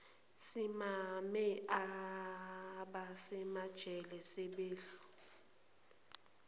simame abasemajele sebehlu